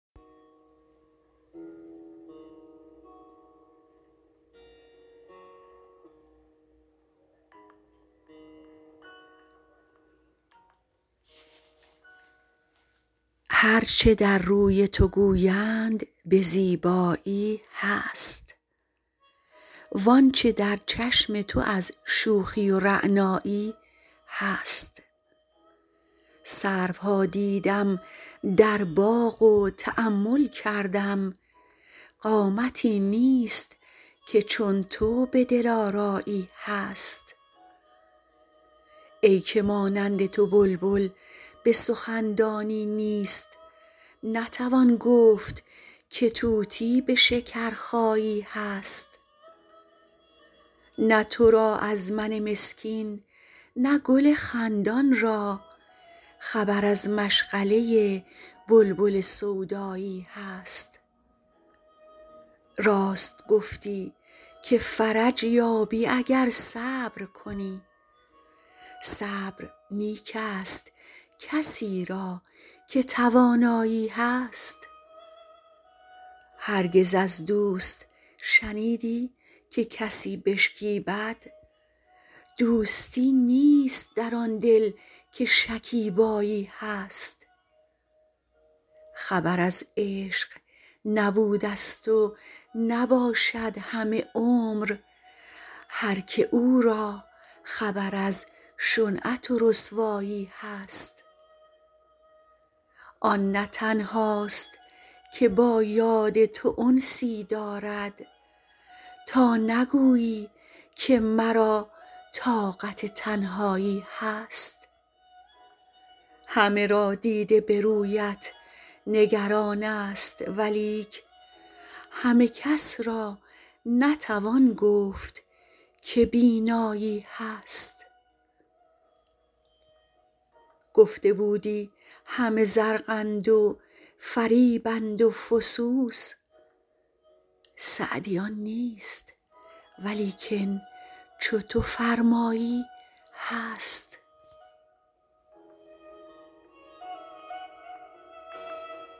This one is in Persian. هر چه در روی تو گویند به زیبایی هست وان چه در چشم تو از شوخی و رعنایی هست سروها دیدم در باغ و تأمل کردم قامتی نیست که چون تو به دلآرایی هست ای که مانند تو بلبل به سخن دانی نیست نتوان گفت که طوطی به شکرخایی هست نه تو را از من مسکین نه گل خندان را خبر از مشغله بلبل سودایی هست راست گفتی که فرج یابی اگر صبر کنی صبر نیک ست کسی را که توانایی هست هرگز از دوست شنیدی که کسی بشکیبد دوستی نیست در آن دل که شکیبایی هست خبر از عشق نبودست و نباشد همه عمر هر که او را خبر از شنعت و رسوایی هست آن نه تنهاست که با یاد تو انسی دارد تا نگویی که مرا طاقت تنهایی هست همه را دیده به رویت نگران ست ولیک همه کس را نتوان گفت که بینایی هست گفته بودی همه زرقند و فریبند و فسوس سعدی آن نیست ولیکن چو تو فرمایی هست